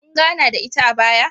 Kun gana da ita a baya?